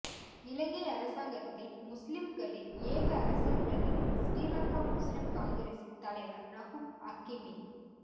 இலங்கை அரசாங்கத்தில் முஸ்லிங்களின் ஏக அரசியல்பிரதிநிதி ஶ்ரீலங்கா முஸ்லிம் காங்கிரஸின் தலைவர் ரவூப் ஹக்கீமே